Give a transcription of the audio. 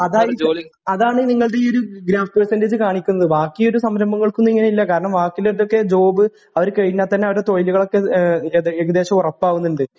അതായിരിക്കും അതാണ് നിങ്ങളുടെ ഒരു ഗ്രോസസ് പേർസെന്റേജ് കാണിക്കുന്നേ ബാക്കി ഒരു സംരംഭങ്ങൾക്കും ഇങ്ങനെ ഇല്ല ബാക്കിയുള്ള ഇതിലൊക്കെ ജോബ് അവരു കഴിഞ്ഞാൽ തന്നെ അവരുടെ തൊഴിലുകളൊക്കെ ഏകദേശം ഉറപ്പാകുന്നുണ്ട്